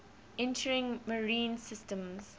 entering marine systems